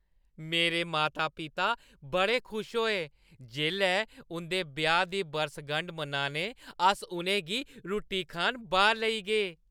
मेरे माता-पिता बड़े खुश होए जेल्लै उं’दे ब्याह् दी बरसगंढ मनान अस उ’नें गी रुट्टी खान बाह्‌‌र लेई गे ।